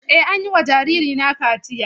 Eh, an yi wa jaririna kaciya.